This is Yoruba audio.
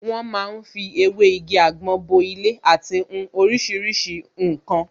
Wọ́n ma ń fi ewé igi àgbọn bo ilé àti hun oríṣiríṣi ǹkan